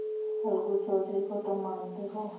अलगू चौधरी को तो मानते हो